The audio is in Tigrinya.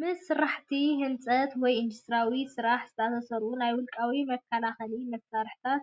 ምስ ስራሕቲ ህንፀት ወይ ኢንዱስትርያዊ ስራሕ ዝተኣሳሰሩ ናይ ውልቂ መከላኸሊ መሳርሒታት